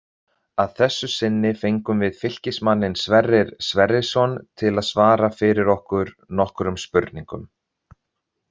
Að þessu sinni fengum við Fylkismanninn Sverrir Sverrisson til að svara fyrir okkur nokkrum spurningum.